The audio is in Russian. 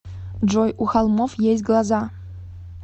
джой у холмов есть глаза